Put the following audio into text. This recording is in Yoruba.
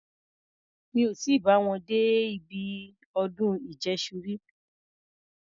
Mí ò tí bá wọn dé ibi ọdún ìjẹ́ṣu rí.